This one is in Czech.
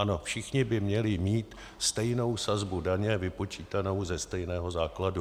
Ano, všichni by měli mít stejnou sazbu daně, vypočítanou ze stejného základu.